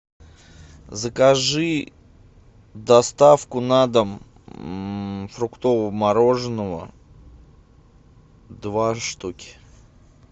закажи доставку на дом фруктового мороженого два штуки